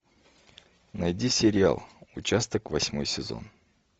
найди сериал участок восьмой сезон